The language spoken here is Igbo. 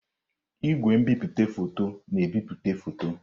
Igwe nbipute foto na-ebipụta foto.